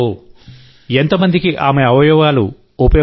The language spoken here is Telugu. ఎంత మందికి ఆమె అవయవాలు ఉపయోగపడ్డాయి